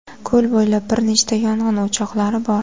Ko‘l bo‘ylab bir nechta yong‘in o‘choqlari bor.